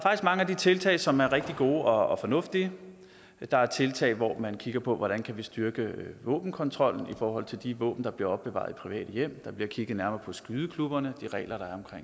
mange af de tiltag som er rigtig gode og fornuftige der er tiltag hvor man kigger på hvordan vi kan styrke våbenkontrollen i forhold til de våben der bliver opbevaret i private hjem der bliver kigget nærmere på skydeklubberne og de regler der er